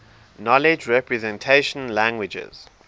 knowledge representation languages